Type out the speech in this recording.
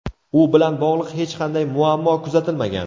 U bilan bog‘liq hech qanday muammo kuzatilmagan.